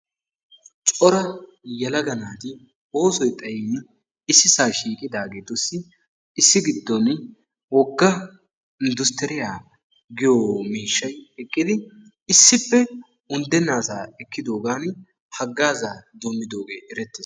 Cora yelaga naati oosoy xayiini issisa shiiqidaageetussi issi giddon wogga inddustturiyaa giyo miishshay eqqidi issippe unddenna asa ekkidoogaani haggaazaa doommidooge erettees.